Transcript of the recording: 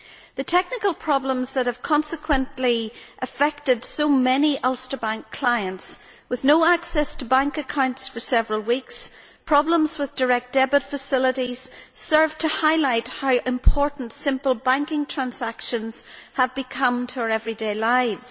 The technical problems that have consequently affected so many Ulster Bank clients, with no access to bank accounts for several weeks and problems with direct debit facilities, serve to highlight how important simple banking transactions have become to our everyday lives.